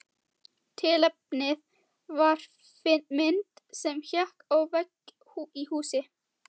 Tilefnið var mynd sem hékk á vegg í húsi.